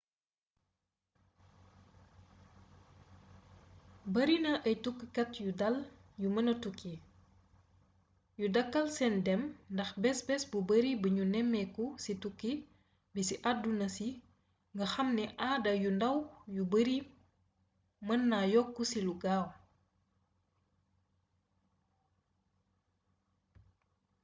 barina ay tukkikat yu dal te mëna tukki yu dakkal sen dem ndax bes bes bu bari bignu néméku ci tukki bi ci aduna si nga xam ni aada yu ndaw yu bari mën na yokku ci lu gaaw